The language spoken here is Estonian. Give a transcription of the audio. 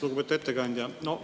Lugupeetud ettekandja!